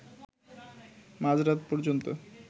মাঝরাত পর্যন্ত